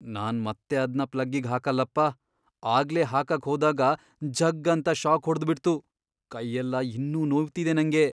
ನಾನ್ ಮತ್ತೆ ಅದ್ನ ಪ್ಲಗ್ಗಿಗ್ ಹಾಕಲ್ಲಪ, ಆಗ್ಲೇ ಹಾಕಕ್ ಹೋದಾಗ ಝಗ್ಗ್ ಅಂತ ಷಾಕ್ ಹೊಡ್ದ್ಬಿಡ್ತು, ಕೈಯೆಲ್ಲ ಇನ್ನೂ ನೋವ್ತಿದೆ ನಂಗೆ.